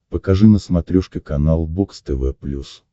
покажи на смотрешке канал бокс тв плюс